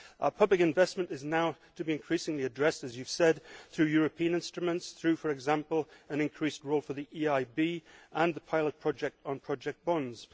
Public investment is now to be increasingly addressed, as you have said, through European instruments, for example through an increased role for the EIB and the pilot project on project bonds.